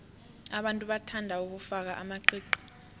abantu bathanda ukufaka amaqiqi